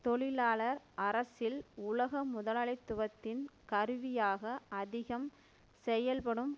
தொழிலாளர் அரசில் உலக முதலாளித்துவத்தின் கருவியாக அதிகம் செயல்படும்